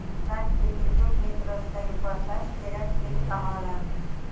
Sankt-Peterburg metrosidagi portlash terakt deb baholandi.